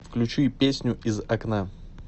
включи песню из окна